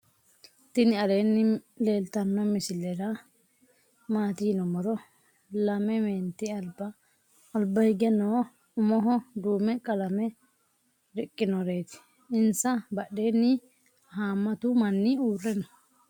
tini alleni leltano misire matti yinumoro. laame menti alba alba hige noo. umoho dume qalane riqinoreti. insa baadheni hamatu maani urre noo.